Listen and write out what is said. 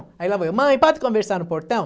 Aí a mãe, mãe, pode conversar no portão?